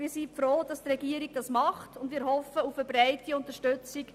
Wir sind froh, dass die Regierung dies tut, und wir hoffen auf eine breite Unterstützung.